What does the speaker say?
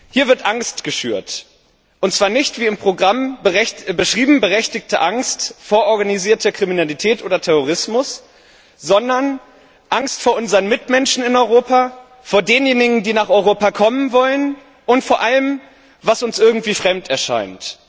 Hier wird Angst geschürt, und zwar nicht wie im Programm beschrieben berechtigte Angst vor organisierter Kriminalität oder Terrorismus, sondern Angst vor unseren Mitmenschen in Europa, vor denjenigen, die nach Europa kommen wollen, und vor allem, was uns irgendwie fremd erscheint.